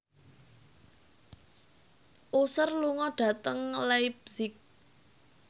Usher lunga dhateng leipzig